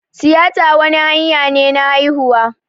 Tiyita wani hanya ne na haihuwa